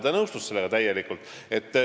Ta nõustus sellega täielikult.